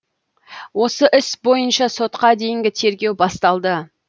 осы іс бойынша сотқа дейінгі тергеу басталды